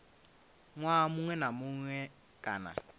ṅwaha muṅwe na muṅwe kana